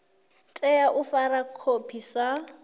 tea u fara khophi sa